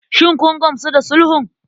Shin kun gamsu da sulhun?